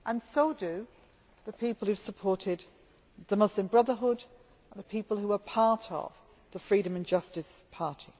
So do the people who have supported the Muslim Brotherhood and the people who are part of the Freedom and Justice Party.